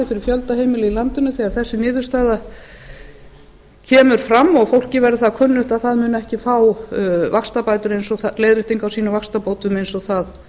fyrir fjölda heimila í landinu þegar þessi niðurstaða kemur fram og fólki verður það kunnugt að það mun ekki fá leiðréttingu á sínum vaxtabótum eins og það